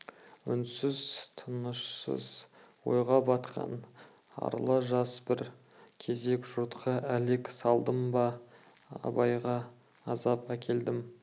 үнсіз тынышсыз ойға батқан арлы жас бір кезек жұртқа әлек салдым ба абайға азап әкелдім